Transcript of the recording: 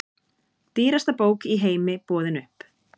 Dýrasta bók í heimi boðin upp